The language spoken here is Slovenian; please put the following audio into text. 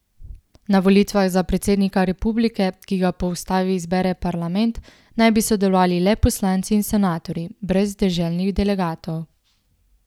Na volitvah za predsednika republike, ki ga po ustavi izbere parlament, naj bi sodelovali le poslanci in senatorji, brez deželnih delegatov.